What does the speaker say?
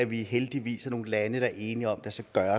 vi heldigvis er nogle lande der er enige om at der